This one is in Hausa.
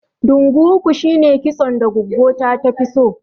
Ɗungu uku shine kitson da goggo ta tafi so